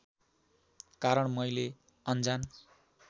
कारण मैले अनजान्